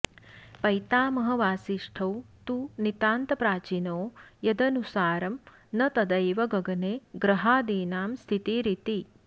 पैतामहवासिष्ठौ तु नितान्तप्राचीनो यदनुसारं न तदैव गगने ग्रहादीनां स्थितिरिति